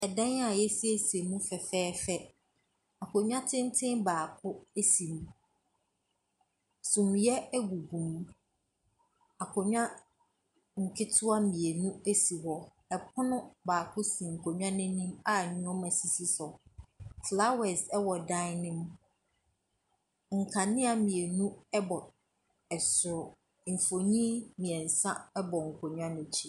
Dan a yɛasiesie mu fɛfɛɛfɛ, akonnwa tenten baako si mu, suneɛ gugu mu. Akonnwa nketewa mmienu si hɔ, pono baako si nkonnwa n’anim a nneɛma sisi so. Flowers wɔ dan ne mu, nkanea mmienu bɔ dan ne soro. Mfonin mmiɛnsa bɔ nkonnwa no akyi.